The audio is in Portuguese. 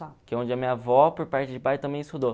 Que é onde a minha avó, por parte de pai, também estudou.